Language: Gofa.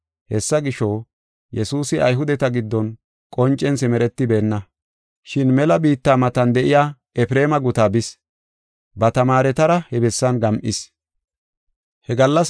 Hessa gisho, Yesuusi Ayhudeta giddon qoncen simeretibeenna. Shin mela biitta matan de7iya Efreema gutaa bis. Ba tamaaretara he bessan gam7is.